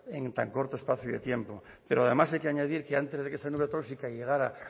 en tan corto espacio de tiempo pero además hay que añadir que antes de que esa nube tóxica llegara